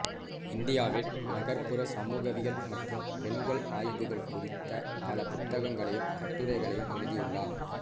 இந்தியாவில் நகர்ப்புற சமூகவியல் மற்றும் பெண்கள் ஆய்வுகள் குறித்த பல புத்தகங்களையும் கட்டுரைகளையும் எழுதியுள்ளார்